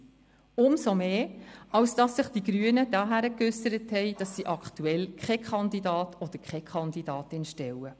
Dies umso mehr, als sich die Grünen dahingegen geäussert haben, dass sie aktuell keine Kandidatin respektive keinen Kandidaten stellen.